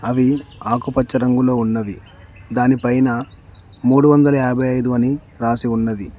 అవి ఆకుపచ్చ రంగులో ఉన్నవి దానిపైన మూడు వందల యాభై ఐదు అని రాసి ఉన్నది.